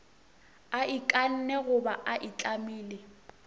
a ikanne goba a itlamile